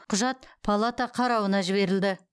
құжат палата қарауына жіберілді